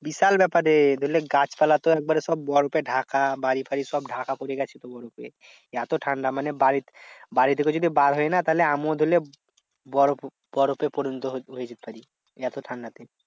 বিশাল ব্যাপার রে ধরে যে গাছপালা তো একবারে তো বরফে ঢাকা। বাড়ি ফাড়ি সব ঢাকা পরে গেছে তো বরফে। এত ঠান্ডা মানে বাড়িতে বাড়ি থেকেও যদি বার হই না তাহলে আমিও ধরে লে বরফ বরফে পরিণত হইবো হয়ে যেতে পার, এত ঠান্ডা তে।